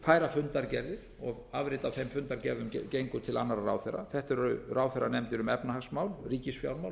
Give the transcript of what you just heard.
færa fundargerðir og afrit af þeim fundargerðum gengu til annarra ráðherra þetta eru ráðherranefndir um efnahagsmál ríkisfjármál